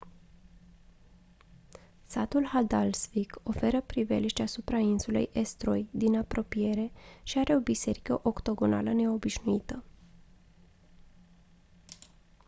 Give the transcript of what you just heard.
satul haldarsvík oferă priveliști asupra insulei eysturoy din apropiere și are o biserică octogonală neobișnuită